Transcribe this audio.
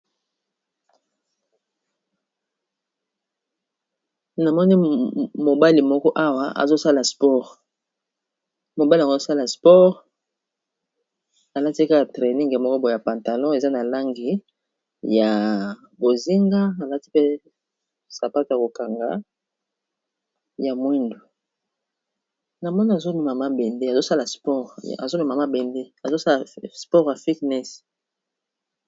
Awa namoni mobali moko azosala sport, alati kaka training moko eza na langi ya bozinga, alati pe sapatu ya kokanga ya mwindu, namoni azomema mabende, zosala sport.